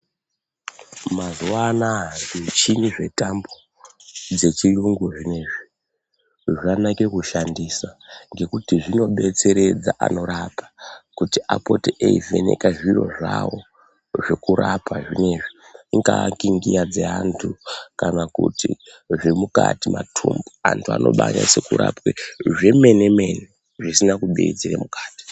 Mazuva anaya zvimichini zvetambo dzechiyungu zvineizvi zvanake kushandisa ngekuti zvinodetseredza anorapa kuti apote eivheneka zviro zvavo zvekurapa zvino izvi. Ingaa ngingiya dzeantu kana kuti zvemukati, matumbu, antu anonyatsekurapwe zvemene-mene zvisina kubiridzira mukati.